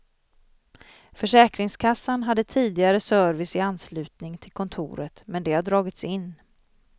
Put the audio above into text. Försäkringskassan hade tidigare service i anslutning till kontoret men det har dragits in.